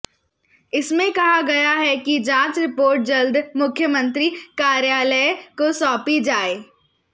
इसमें कहा गया है कि जांच रिपोर्ट जल्द मुख्यमंत्री कार्यालय को सौंपी जाए